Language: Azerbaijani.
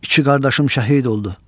İki qardaşım şəhid oldu.